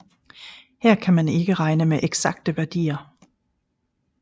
Her kan man ikke regne med eksakte værdier